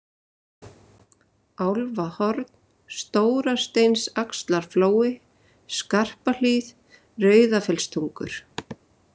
Álfahorn, Stórasteinsaxlarflói, Skarpahlíð, Rauðafellstungur